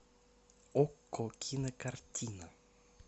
окко кинокартина